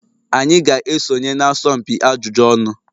Anyị ga-esonye na asọmpi ajụjụ ọnụ.